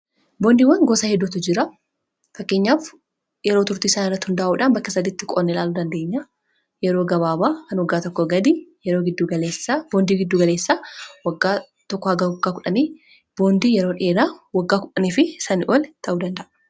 boondiiwwan gosaa hedduutu jira. fakkeenyaaf yeroo turtii saaniirrati hundaa'uudhaan bakka saditti qoodnee ilaaluu dandeenya. Kan yeroo gabaaba kan waggaa tokkoo gadii boondii giddu galeessaa waggaa tokkoo hanga waggaa 10 boondii yeroo dheeraa wagga 10 ol kan ta'udha.